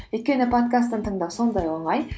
өйткені подкастты тыңдау сондай оңай